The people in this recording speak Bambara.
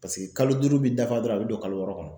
Paseke kalo duuru bi dafa dɔrɔn a bɛ don kalo wɔɔrɔ kɔnɔ.